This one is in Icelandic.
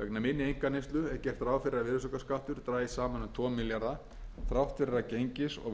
vegna minni einkaneyslu er gert ráð fyrir að virðisaukaskattur dragist saman um tvo milljarða þrátt fyrir að gengis og verðhækkanir hafi